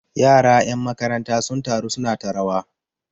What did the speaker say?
yara 'yan makaranta sun taru suna ta rawa